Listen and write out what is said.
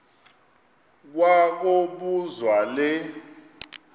kwa kobuzwa le